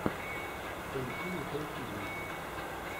поищи николь кидман